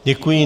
Děkuji.